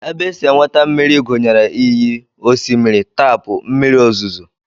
Ebe e si enweta mmiri gụnyere iyi, osimiri, taapụ, mmiri ozuzu